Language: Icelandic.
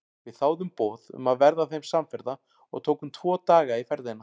Við þáðum boð um að verða þeim samferða og tókum tvo daga í ferðina.